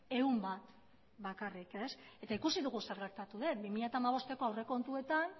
ehun bat bakarrik eta ikusi dugu zer gertatu den bi mila hamabosteko aurrekontuetan